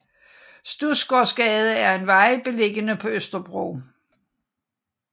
Studsgaardsgade er en vej beliggende på Østerbro